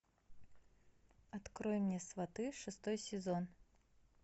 открой мне сваты шестой сезон